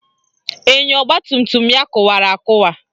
Enyo ọgbatumtum ya kụwara akụwa